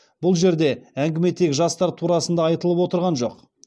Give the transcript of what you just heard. бұл жерде әңгіме тек жастар турасында айтылып отырған жоқ